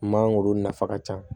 Mangoro nafa ka ca